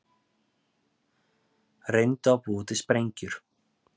Reyndu að búa til sprengjur